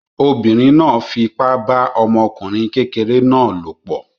Obìnrin náà fipá bá ọmọkùnrin kékeré náà lòpọ̀